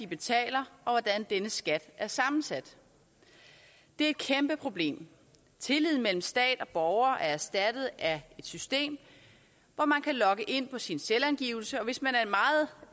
betaler og hvordan denne skat er sammensat det er et kæmpe problem tilliden mellem staten og borgerne er erstattet af et system hvor man kan logge ind på sin selvangivelse og hvis man